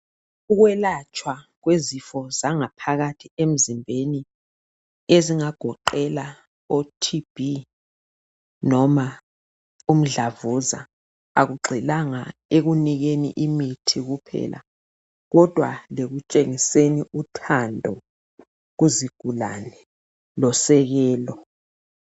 Ukwelatshwa kwezifo zangaphakathi emzimbeni ezingagoqela o TB noma umdlavuza akugxilanga ekunikeni imithi kuphela kodwa lekutshengiseni uthando kuzigulane ngosekelo kuzigulane.